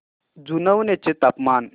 जुनवणे चे तापमान